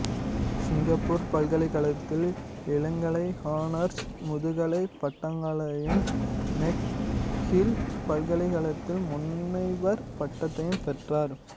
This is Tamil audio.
சிங்கப்பூர் பல்கலைக்கழகத்தில் இளங்கலைஹானர்ஸ் முதுகலைப் பட்டங்களையும் மெக்ஹில் பல்கலைக்கழகத்தில் முனைவர் பட்டத்தையும் பெற்றார்